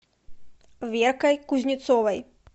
веркой кузнецовой